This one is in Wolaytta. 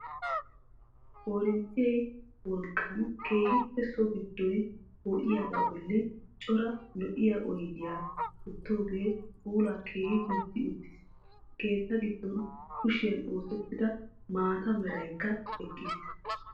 Korinttiyaa wolqqaan keehippe so giddoy poo'iyaagaa bolli cora lo"iyaa oydiyaa wottoogee puulaa keehi gujji uttiis. Keettaa giddon kushiyaan osettida maata meraykka eqqiis.